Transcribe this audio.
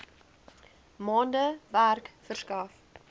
maande werk verskaf